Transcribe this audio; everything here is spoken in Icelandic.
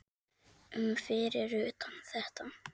um fyrir utan þetta.